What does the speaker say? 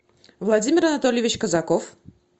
владимир анатольевич казаков